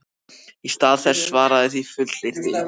Í stað þess að svara því fullyrti